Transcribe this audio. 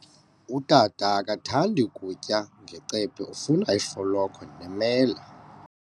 Utata akathandi kutya ngecephe, ufuna ifolokhwe nemela.